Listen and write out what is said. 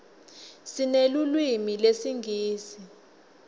sinelulwimi lesingisi